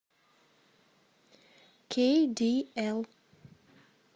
кейдиэл